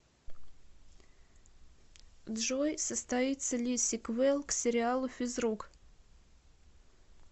джой состоится ли сиквел к сериалу физрук